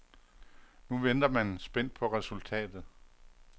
Nu venter man spændt på resultatet.